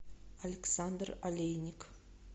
александр олейник